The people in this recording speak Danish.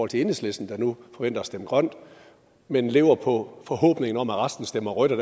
til enhedslisten der nu forventer at stemme grønt men lever på forhåbningen om at resten stemmer rødt